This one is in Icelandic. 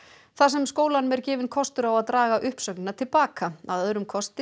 þar sem skólanum er gefinn kostur á að draga uppsögnina til baka að öðrum kosti